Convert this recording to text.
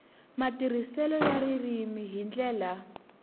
matirhiselo ya ririmi hi ndlela